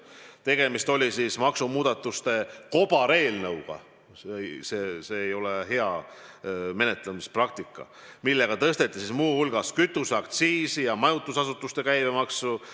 Tegemist oli maksumuudatuste kobareelnõuga – see ei ole hea menetlemispraktika –, mille eesmärk oli tõsta muu hulgas kütuseaktsiisi ja majutusasutuste käibemaksu.